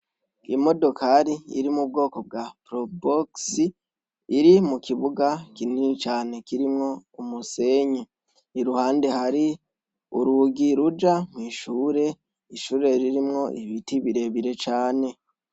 imodokari iri mu bwoko bwa proboxs iri mu kibuga kinini cyane kirimwo umusenyi iruhande hari urugi ruja mpishure ishure ririmwo ibiti birebire cyane